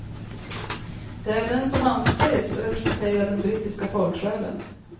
Det är den som anses representera den brittiska folksjälen.